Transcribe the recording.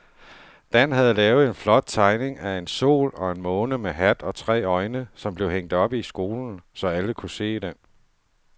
Dan havde lavet en flot tegning af en sol og en måne med hat og tre øjne, som blev hængt op i skolen, så alle kunne se den.